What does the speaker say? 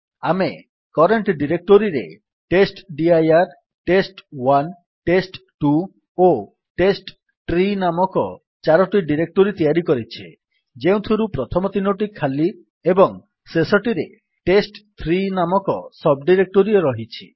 ଆମେ କରେଣ୍ଟ୍ ଡିରେକ୍ଟୋରୀରେ testdirtest1ଟେଷ୍ଟ2 ଓ ଟେଷ୍ଟଟ୍ରୀ ନାମକ ଚାରୋଟି ଡିରେକ୍ଟୋରୀ ତିଆରି କରିଛେ ଯେଉଁଥିରୁ ପ୍ରଥମ ତିନୋଟି ଖାଲି ଏବଂ ଶେଷଟିରେ ଟେଷ୍ଟ3 ନାମକ ସବ୍ ଡିରେକ୍ଟୋରୀ ରହିଛି